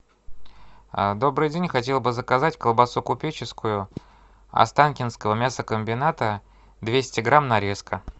добрый день хотел бы заказать колбасу купеческую останкинского мясокомбината двести грамм нарезка